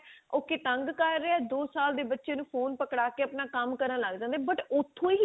ਉਹ ਕੀ ਤੰਗ ਕਰ ਰਿਹਾ ਦੋ ਸਾਲ ਦੇ ਬਚੇ ਨੂੰ ਫੋਨ ਪਕੜਾ ਕੇ ਆਪਣਾ ਕੰਮ ਕਰਨ ਲੱਗ ਜਾਂਦੇ ਆ but ਉਥੋਂ ਹੀ